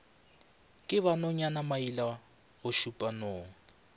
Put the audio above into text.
ke ba nonyana mailagošupša nong